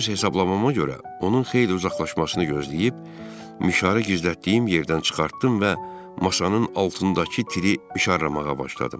Öz hesablamama görə onun xeyli uzaqlaşmasını gözləyib mişarı gizlətdiyim yerdən çıxartdım və maşanın altındakı tiri mişarlamağa başladım.